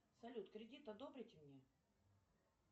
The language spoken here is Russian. салют кредит одобрите мне